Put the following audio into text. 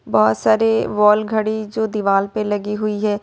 बहुत सारे वॉल घड़ी जो दीवाल पे लगी हुई है।